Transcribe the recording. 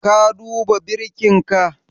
Ka duba birkinka?